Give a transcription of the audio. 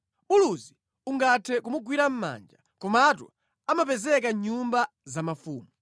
Buluzi ungathe kumugwira mʼmanja komatu amapezeka mʼnyumba za mafumu.